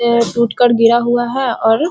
ये टूटकर गिरा हुआ है और --